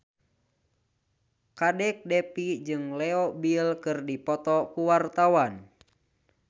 Kadek Devi jeung Leo Bill keur dipoto ku wartawan